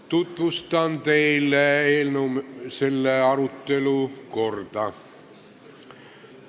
Tutvustan teile selle arutelu korda.